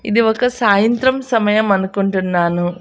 ఇది ఒక సాయంత్రం సమయం అనుకుంటున్నాను.